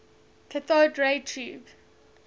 cathode ray tube